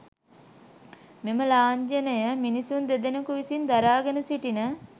මෙම ලාංඡනය මිනිසුන් දෙදෙනකු විසින් දරාගෙන සිටින